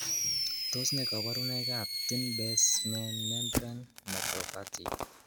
Tos nee koborunoikab Thin basement membrane nephropathy?